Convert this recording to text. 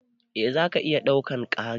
Eh zaka iya ɗaukan Kari.